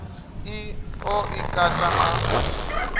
ḽi ḓo i kata a